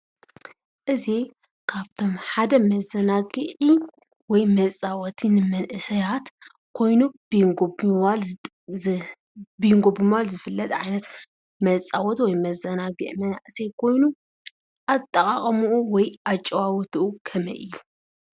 እዚ ካብቶም ሓደ መዘናግዒ ወይ መፃወቲ ንመንእሰያት ኮይኑ ቢንጎ ብምባል ዝፍለጥ ዓይነት መፃወቲ ወይ መዘናግዒ መናእሰይ ኮይኑ፣ አጠቃቅምኡ ወይ እጨዋውትኡ ከመይ እዩ?